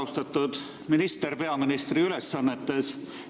Austatud minister peaministri ülesannetes!